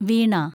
വീണ